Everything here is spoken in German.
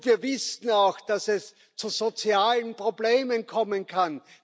Wir wissen auch, dass es zu sozialen Problemen kommen kann.